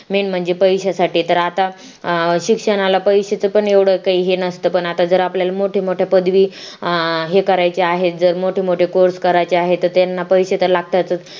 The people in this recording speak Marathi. main म्हणजे पैशासाठी तर आता शिक्षणाला पैश्याच पण एवढं काही हे नसतं पण आता जर आपल्याला मोठे मोठे पदवी हे करायचे आहेत जर मोठे मोठ course करायचे आहे तर त्यांना पैसे त्या लागतातच